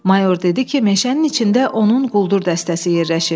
Mayor dedi ki, meşənin içində onun quldur dəstəsi yerləşib.